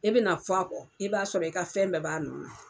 I bɛna fɔ a kɔ i b'a sɔrɔ i ka fɛn bɛɛ b'a nɔ na.